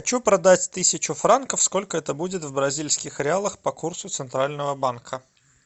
хочу продать тысячу франков сколько это будет в бразильских реалах по курсу центрального банка